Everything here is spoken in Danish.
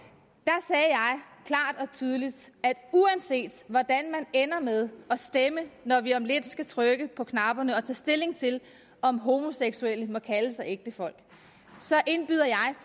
tydeligt at uanset hvordan man ender med at stemme når vi om lidt skal trykke på knapperne og tage stilling til om homoseksuelle må kalde sig ægtefolk indbyder